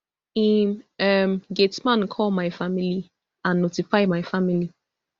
im um gateman call my family and notify my family